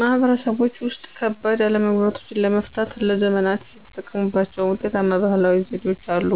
ማህበረሰቦች ውስጥ፣ ከባድ አለመግባባቶችን ለመፍታት ለዘመናት የተጠቀሙባቸው ውጤታማ ባህላዊ ዘዴዎች አሉ።